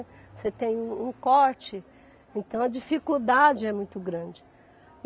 Você tem um um corte, então a dificuldade é muito grande.